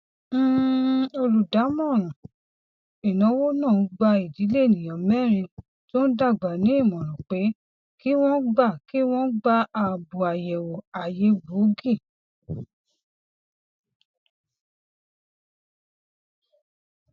um olùdámọràn ináwó náà gba idílé ènìyàn mẹrin tó ń dàgbà ní ìmòràn pé kí wọn gba kí wọn gba àbò àyẹwò àyè gboogi